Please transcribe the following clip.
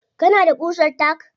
Kana da ƙusar tack?